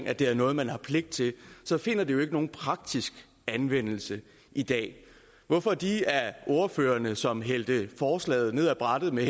at det er noget man har pligt til så finder det jo ikke nogen praktisk anvendelse i dag hvorfor de af ordførerne som hældte forslaget ned af brættet med